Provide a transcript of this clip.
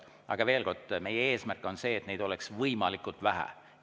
Aga veel kord, meie eesmärk on see, et neid oleks võimalikult vähe.